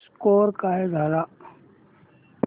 score काय झाला